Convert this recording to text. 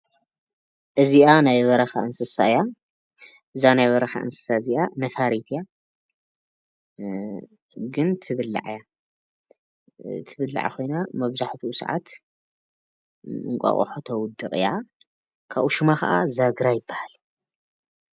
እዚኣ ናይ በረካ እንስሳ እያ ዛ ናይ በረካ እንስሳ እዚኣ ነፋሪት እያ ግን ትብላዕ እያ ትብላዕ ኮይና መብዛሕቲኡ ሰዓት እንቋቁሖ ተዉድቕ እያ ካብኡ ሹማ ከኣ ዛግራ ይበሃል ።